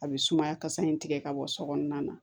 A bɛ sumaya kasa in tigɛ ka bɔ sokɔnɔna na